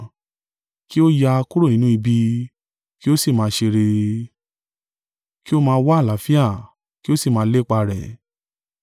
Kí ó yà kúrò nínú ibi, kí ó sì máa ṣe rere; kí ó máa wá àlàáfíà, kí ó sì máa lépa rẹ̀.